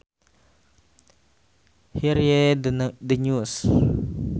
Hear ye the news